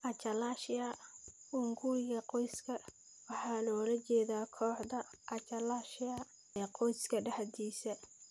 Achalasia hunguriga qoyska waxaa loola jeedaa kooxda achalasia ee qoyska dhexdiisa.